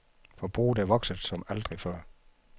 Forbruget er vokset som aldrig før.